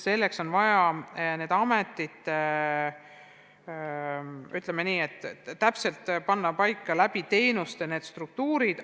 Enne on vaja paika panna nende ametite struktuurid, arvestades nende funktsioone.